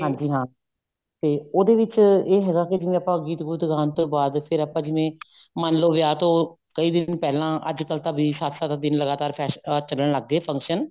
ਹਾਂਜੀ ਹਾਂ ਤੇ ਉਹਦੇ ਵਿੱਚ ਇਹ ਹੈਗਾ ਕੀ ਜਿਵੇਂ ਆਪਾਂ ਗੀਤ ਗੁਤ ਗਾਉਣ ਤੋਂ ਬਾਅਦ ਫੇਰ ਆਪਾਂ ਜਿਵੇਂ ਮੰਨ ਲਓ ਵਿਆਹ ਤੋਂ ਕਈ ਦਿਨ ਪਹਿਲਾਂ ਅੱਜਕਲ ਤਾਂ ਸੱਤ ਸੱਤ ਦਿਨ ਚੱਲਣ ਲੱਗ ਗਏ function